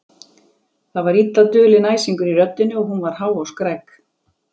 Það var illa dulinn æsingur í röddinni og hún var há og skræk.